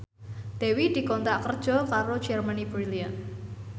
Dewi dikontrak kerja karo Germany Brilliant